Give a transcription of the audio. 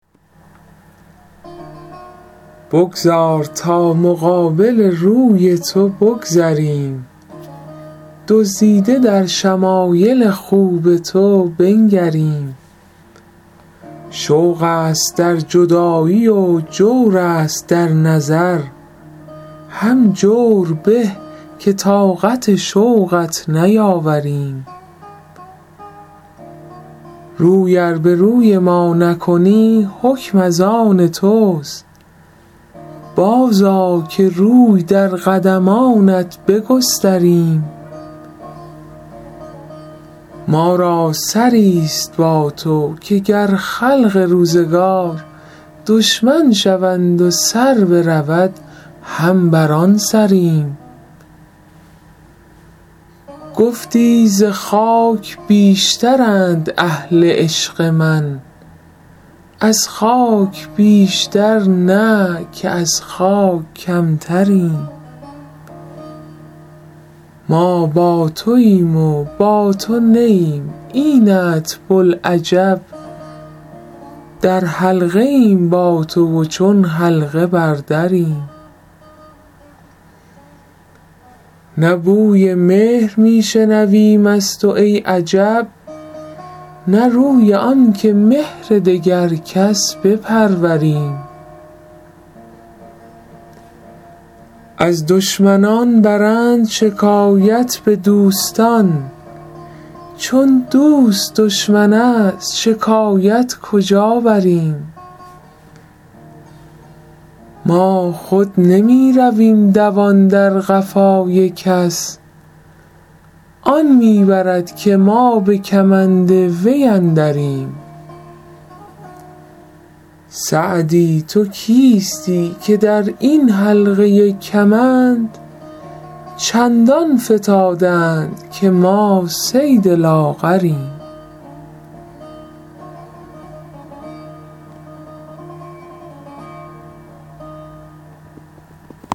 بگذار تا مقابل روی تو بگذریم دزدیده در شمایل خوب تو بنگریم شوق است در جدایی و جور است در نظر هم جور به که طاقت شوقت نیاوریم روی ار به روی ما نکنی حکم از آن توست بازآ که روی در قدمانت بگستریم ما را سری ست با تو که گر خلق روزگار دشمن شوند و سر برود هم بر آن سریم گفتی ز خاک بیشترند اهل عشق من از خاک بیشتر نه که از خاک کمتریم ما با توایم و با تو نه ایم اینت بلعجب در حلقه ایم با تو و چون حلقه بر دریم نه بوی مهر می شنویم از تو ای عجب نه روی آن که مهر دگر کس بپروریم از دشمنان برند شکایت به دوستان چون دوست دشمن است شکایت کجا بریم ما خود نمی رویم دوان در قفای کس آن می برد که ما به کمند وی اندریم سعدی تو کیستی که در این حلقه کمند چندان فتاده اند که ما صید لاغریم